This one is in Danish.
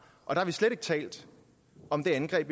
og vi har slet ikke talt om det angreb